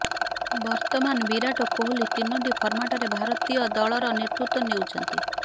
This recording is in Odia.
ବର୍ତ୍ତମାନ ବିରାଟ କୋହଲି ତିନୋଟି ଫର୍ମାଟରେ ଭାରତୀୟ ଦଳର ନେତୃତ୍ବ ନେଉଛନ୍ତି